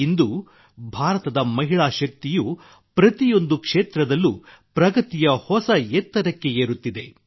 ಇಂದು ಭಾರತದ ಮಹಿಳಾ ಶಕ್ತಿಯು ಪ್ರತಿಯೊಂದು ಕ್ಷೇತ್ರದಲ್ಲೂ ಪ್ರಗತಿಯ ಹೊಸ ಎತ್ತರಕ್ಕೆ ಏರುತ್ತಿದೆ